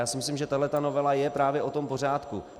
Já si myslím, že tahle novela je právě o tom pořádku.